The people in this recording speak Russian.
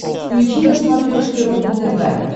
включи на смотрешке рубль тв